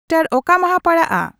ᱚᱠᱟ ᱢᱟᱦᱟ ᱯᱟᱲᱟᱜᱼᱟ